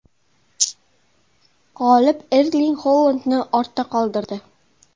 G‘olib Erling Holandni ortda qoldirdi.